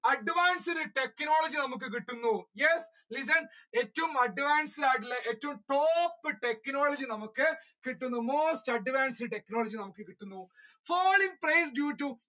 advanced technology നമ്മുക്ക് കിട്ടുന്നു yes, listen ഏറ്റവും advanced ആയിട്ടുള്ള ഏറ്റവും top technology നമ്മുക്ക് കിട്ടുന്നു most advanced technology നമ്മുക്ക് കിട്ടുന്നു world trade